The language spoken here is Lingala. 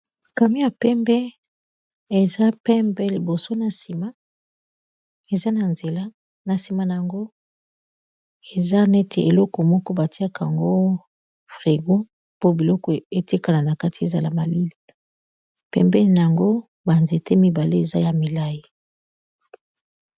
kami ya pembe eza pembe liboso na sima eza na nzela na sima na yango eza neti eleko moko batiaka yango frigo po biloko eza na kati ezala malili ,pembeni na yango banzete mibale eza ya milai